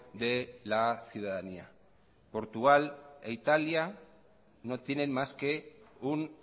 de la ciudadanía portugal e italia no tienen más que un